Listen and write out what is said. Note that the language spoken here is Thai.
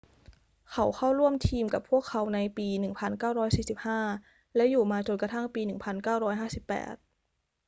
เขาเข้าร่วมทีมกับพวกเขาในปี 1945 และอยู่มาจนกระทั่งปี 1958